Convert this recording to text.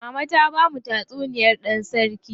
Mama ta bamu tatsuniyar dan sarki jiki.